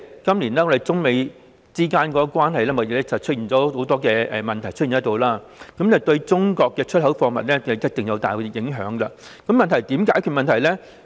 今年中美貿易關係出現很多問題，對中國出口貨物一定大有影響，問題是我們應該怎樣做？